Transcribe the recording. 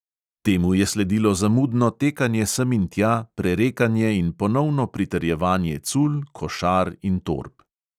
Temu je sledilo zamudno tekanje sem in tja, prerekanje in ponovno pritrjevanje cul, košar in torb.